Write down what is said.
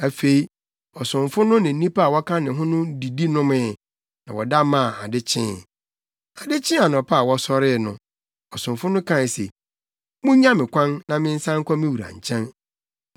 Afei, ɔsomfo no ne nnipa a wɔka ne ho no didi nomee, na wɔda maa ade kyee. Ade kyee anɔpa a wɔsɔree no, ɔsomfo no kae se, “Munnya me kwan, na mensan nkɔ me wura nkyɛn.”